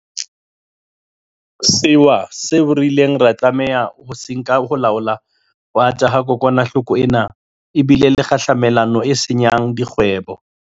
Sewa le mehato eo re ileng ra tlameha ho e nka ho laola ho ata ha kokwanahloko ena e bile le kgahlamelo e senya ng dikgwebong.